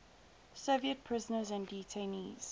soviet prisoners and detainees